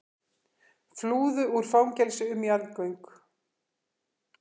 Flúðu úr fangelsi um jarðgöng